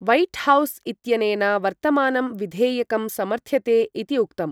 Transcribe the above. White House इत्यनेन वर्तमानं विधेयकं समर्थ्यते इति उक्तम्।